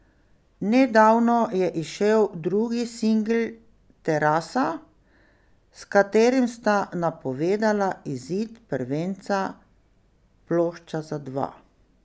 Nedavno je izšel drugi singel Terasa, s katerim sta napovedala izid prvenca Plošča za dva.